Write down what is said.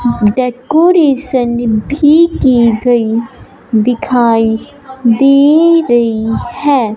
Decoration भी की गई दिखाई दे रही हैं।